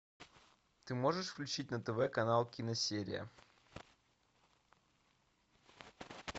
ты можешь включить на тв канал киносерия